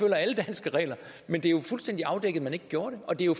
alle danske regler men det er jo fuldstændig afdækket at man ikke gjorde det og det er jo